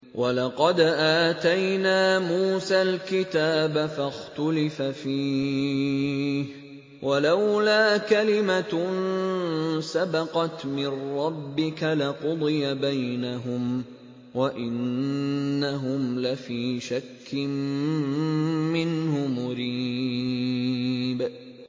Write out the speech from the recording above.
وَلَقَدْ آتَيْنَا مُوسَى الْكِتَابَ فَاخْتُلِفَ فِيهِ ۗ وَلَوْلَا كَلِمَةٌ سَبَقَتْ مِن رَّبِّكَ لَقُضِيَ بَيْنَهُمْ ۚ وَإِنَّهُمْ لَفِي شَكٍّ مِّنْهُ مُرِيبٍ